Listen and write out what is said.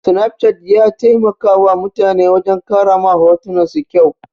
Snapchat ya taimakawa mutane wajen ƙara ma hotunan su kyau.